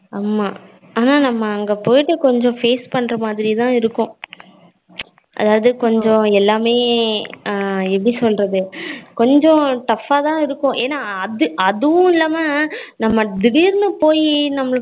ஆமா ஆனா நம்ம அங்க போய்ட்டு கொஞ்சம் face பண்ணுற மாதிரி தான் இருக்கும் அதாவது கொஞ்சம் எல்லாமே ஹம் எப்படி சொல்லுறது கொஞ்சம் tough ஆ தான் இருக்கும் என்னா அது அதுவும் இல்லாம நம்ம திடீர்னு போய் நம்ம